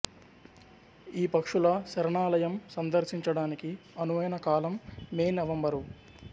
ఈ పక్షుల శరణాలయం సందర్శించడానికి అనువైన కాలం మే నవంబరు